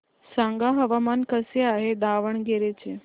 सांगा हवामान कसे आहे दावणगेरे चे